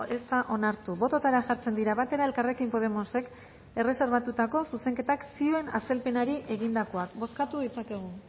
ez da onartu bototara jartzen dira batera elkarrekin podemosek erreserbatutako zuzenketak zioen azalpenari egindakoak bozkatu ditzakegu